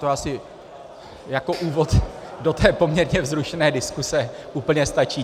To asi jako úvod do té poměrně vzrušené diskuze úplně stačí.